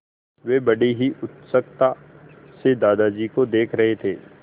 वे बड़ी उत्सुकता से दादाजी को देख रहे थे